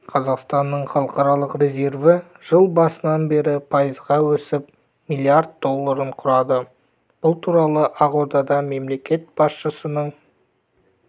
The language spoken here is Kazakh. қазақстанның халықаралық резерві жыл басынан бері пайызға өсіп млрд долларын құрады бұл туралы ақордада мемлекет басшысының